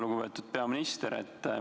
Lugupeetud peaminister!